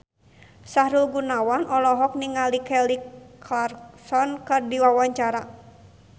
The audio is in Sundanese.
Sahrul Gunawan olohok ningali Kelly Clarkson keur diwawancara